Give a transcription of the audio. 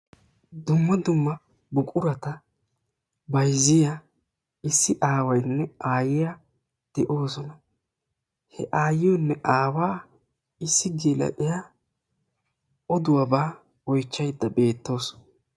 Dumma dumma buqurata bayziya issi aawaynne aayiyaa de'oosona. He aayiyonne aawa issi geela'iya oduwabaa oychchayda beettawusu.